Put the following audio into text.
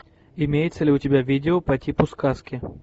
имеется ли у тебя видео по типу сказки